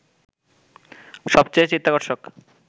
সবচেয়ে চিত্তাকর্ষক